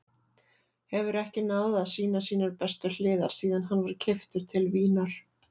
Hefur ekki náð að sýna sínar bestu hliðar síðan hann var keyptur til Vínar.